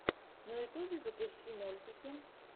на ютубе запусти мультики